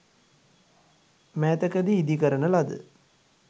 මෑතකදී ඉදි කරන ලද